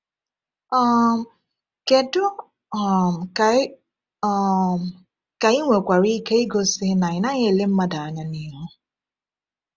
um Kedu um ka ị um ka ị nwekwara ike igosi na ị naghị ele mmadụ anya n’ihu?